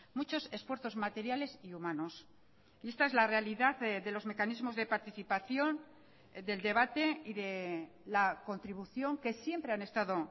muchos esfuerzos materiales y humanos y esta es la realidad de los mecanismos de participación del debate y de la contribución que siempre han estado